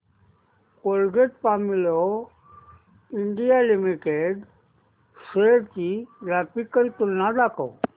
Colgate Palmolive India limited shares ची graphical तुलना दाखव